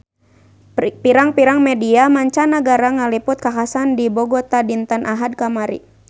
Pirang-pirang media mancanagara ngaliput kakhasan di Bogota dinten Ahad kamari